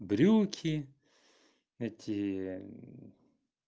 брюки эти